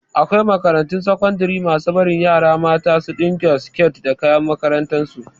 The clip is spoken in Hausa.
Akwai makarantun sakandare masu bari yara mata su ɗinka siket da da kayan makarantar su